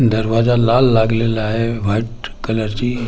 दरवाजा लाल लागलेला आहे व्हाईट कलरची खुर्च्या तर खा--